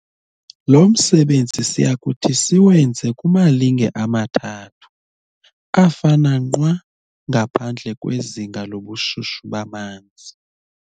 lo msebenzi siyakuthi siwenze kumalinge amathathu, afana nqwa, ngaphandle kwezinga lobushushu bamanzi.